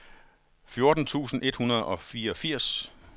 fjorten tusind et hundrede og fireogfirs